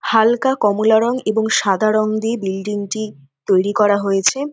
হাল্কা কমলা রঙ এবং সাদা রঙ দিয়ে বিল্ডিং -টি তৈরি করা হয়েছে।